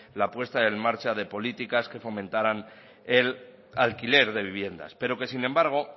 la puesta en marcha de políticas que fomentaran el alquiler de viviendas pero que sin embargo